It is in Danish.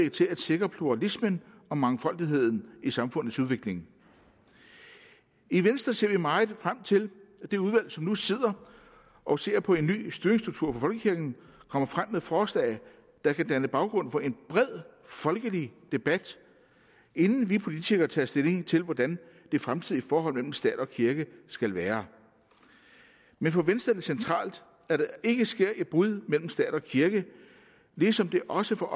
til at sikre pluralismen og mangfoldigheden i samfundets udvikling i venstre ser vi meget frem til at det udvalg som nu sidder og ser på en ny styringsstruktur for folkekirken kommer frem med forslag der kan danne baggrund for en bred folkelig debat inden vi politikere tager stilling til hvordan det fremtidige forhold mellem stat og kirke skal være men for venstre er det centralt at der ikke sker et brud mellem stat og kirke ligesom det også for